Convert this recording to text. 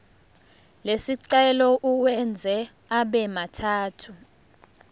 lesicelo uwenze abemathathu